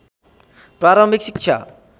प्रारम्भिक शिक्षा